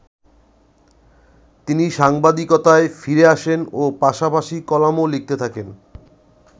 তিনি সাংবাদিকতায় ফিরে আসেন ও পাশাপাশি কলামও লিখতে থাকেন।